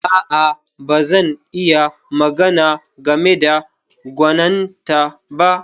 A'a, ba zan iya magana game da gwaninta ba.